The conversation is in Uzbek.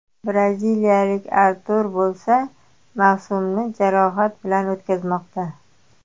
Braziliyalik Artur bo‘lsa, mavsumni jarohat bilan o‘tkazmoqda.